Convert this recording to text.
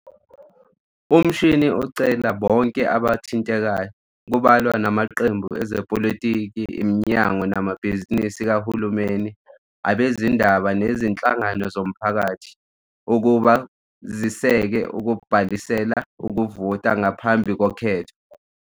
UMashinini ucela bonke abathintekayo, kubalwa namaqembu ezepolitiki, iminyango namabhizinisi kahulumeni, abezindaba nezinhlangano zomphakathi ukuba ziseke ukubhalisela ukuvota ngaphambi kokhetho.